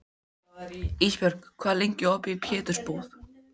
Ísbjörg, hvað er lengi opið í Pétursbúð?